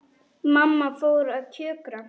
Mamma fór að kjökra.